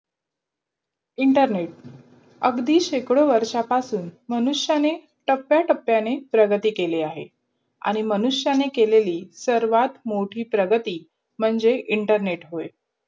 internet अगदी शेकडो वर्षांपासून मनुष्याांां त्तप्य टप्याने प्रारगती केली आहे. मनुष्याांन केलेली सर्वात मोठी प्रारगती मणझे internet